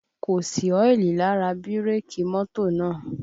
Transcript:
Kò sí ọ́ìlì lára bírèkì mọ́tò náà